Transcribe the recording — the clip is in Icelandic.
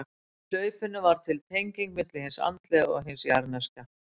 Með hlaupinu varð til tengingin milli hins andlega og hins jarðneska.